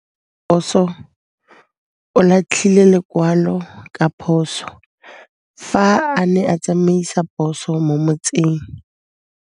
Raposo o latlhie lekwalô ka phosô fa a ne a tsamaisa poso mo motseng.